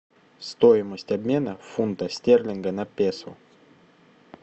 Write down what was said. стоимость обмена фунта стерлинга на песо